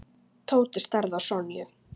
Tóti starði á Sonju.